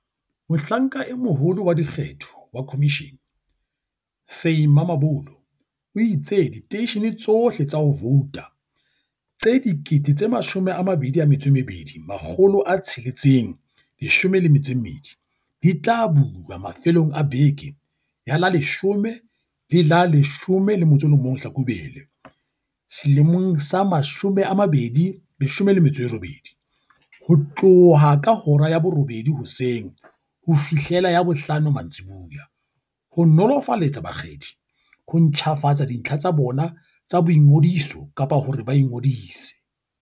Mohlanka e Moholo wa Dikgetho wa khomishene, Sy Mamabolo, o itse diteishene tsohle tsa ho vouta tse 22 612 di tla bulwa mafelong a beke ya la 10 le la 11 Hlakubele 2018, ho tloha ka hora ya borobedi hoseng ho fihlela ya bohlano mantsiboya, ho nolofaletsa bakgethi ho ntjhafatsa dintlha tsa bona tsa boingodiso kapa hore ba ingodise.